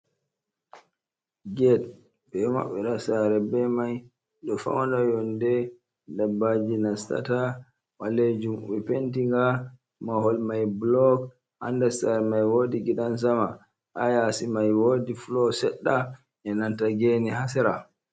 Get ɓe maɓɓira sare be mai ɓe faunira yonɗe ɗaɓɓaji nassata balejum ɓe penti ga mahol mai buluk ha nder sare mai woɗi giɗan sama ha yasi mai woɗi fulo sedda e'nanta gene ha sera.